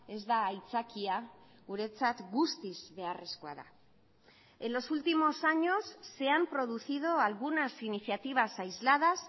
ez da aitzakia guretzat guztiz beharrezkoa da en los últimos años se han producido algunas iniciativas aisladas